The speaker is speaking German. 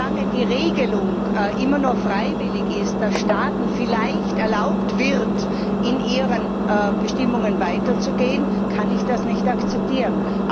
Solange die Regelung immer nur freiwillig ist, dass Staaten vielleicht erlaubt wird, in ihren Bestimmungen weiterzugehen, kann ich das nicht akzeptieren.